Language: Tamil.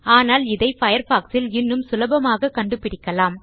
ஆனால் இதை பயர்ஃபாக்ஸ் இல் இன்னும் சுலபமாக கண்டுபிடிக்கலாம்